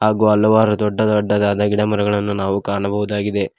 ಹಾಗು ಹಲವಾರು ದೊಡ್ಡ ದೊಡ್ಡದಾದ ಗಿಡಮರಗಳನ್ನು ನಾವು ಕಾಣಬಹುದಾಗಿದೆ.